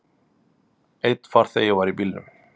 Einn farþegi var í bílnum.